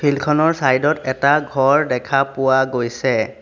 Field খনৰ side ত এটা ঘৰ দেখা পোৱা গৈছে।